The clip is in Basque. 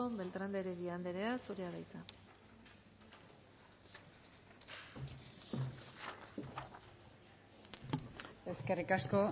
beltrán de heredia andrea zurea da hitza eskerrik asko